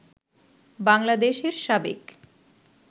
বাংলাদেশের সাবেক